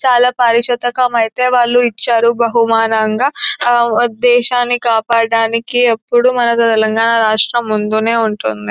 చాలా పారిశోతకమైతే వాళ్ళు ఇచ్చారు బహుమానంగా ఆ దేశాన్ని కాపాడ్డానికి ఎప్పుడు మన తెలంగాణా రాష్ట్రము ముందు నే ఉంటుంది.